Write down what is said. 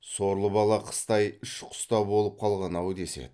сорлы бала қыстай іш құста болып қалған ау деседі